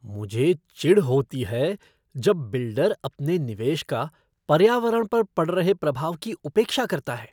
मुझे चिढ़ होती है जब बिल्डर अपने निवेश का पर्यावरण पर पड़ रहे प्रभाव की उपेक्षा करता है।